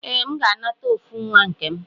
Ee, M ga-anata ofu nwa nkem.